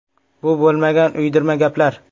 Bu bo‘lmagan, uydirma gaplar.